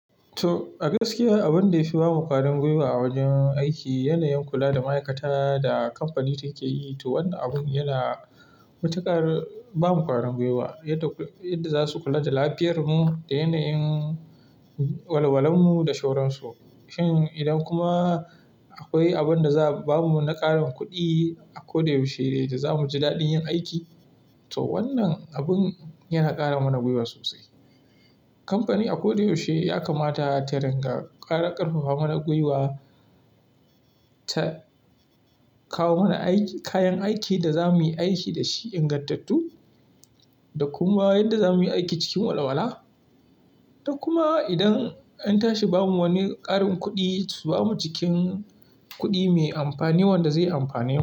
To, a gaskiya abin da yafi bamu ƙwarin gwiwa a wajen aiki yana yin kula da ma'aikata da kamfani take yi. To wannan abun yana matuƙar bamu ƙwarin gwiwa, yadda zasu kula da lafiyar mu, da yana yin walawalamu da shoran su. Shin idan kuma akwai abin da za'a bamu na ƙarin kuɗi a koda yaushe da zamu ji daɗin yin aiki. To wannan abin yana ƙara mana gwiwa sosai. Kamfani a koda yaushe yakamata ta ringa ƙarfafa mana gwiwa, ta kawo mana kayan aikin da zamuyi aiki dashi ingantattu, da kuma yadda zamuyi aiki cikin walawala. Da kuma idan an tashi bamuwani ƙarin kuɗi, su bamu cikin kuɗi me amfani wanda zai amfane mu.